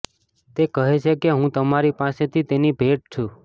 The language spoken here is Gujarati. તે કહે છે કે હું તમારી પાસેથી તેની ભેટ છું